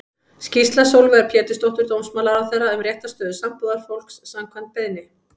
Skýrsla Sólveigar Pétursdóttur dómsmálaráðherra um réttarstöðu sambúðarfólks, samkvæmt beiðni.